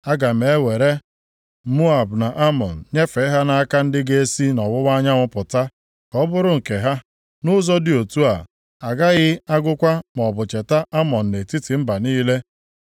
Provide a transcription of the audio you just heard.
Aga m ewere Moab na Amọn nyefee ha nʼaka ndị ga-esi nʼọwụwa anyanwụ pụta, ka ọ bụrụ nke ha. Nʼụzọ dị otu a, a gaghị agụkwa maọbụ cheta Amọn nʼetiti mba niile.